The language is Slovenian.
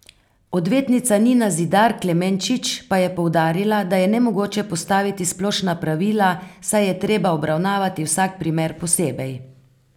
Odvetnica Nina Zidar Klemenčič pa je poudarila, da je nemogoče postaviti splošna pravila, saj je treba obravnavati vsak primer posebej.